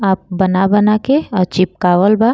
आ बना बना के अ चिपकवाल बा।